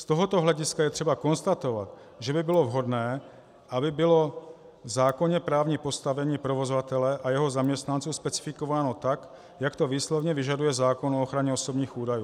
Z tohoto hlediska je třeba konstatovat, že by bylo vhodné, aby bylo v zákoně právní postavení provozovatele a jeho zaměstnanců specifikováno tak, jak to výslovně vyžaduje zákon o ochraně osobních údajů.